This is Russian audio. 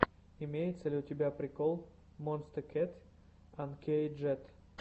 имеется ли у тебя прикол монсте кэт анкейджед